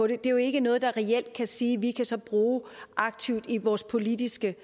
det er jo ikke noget vi reelt kan sige at vi kan bruge aktivt i vores politiske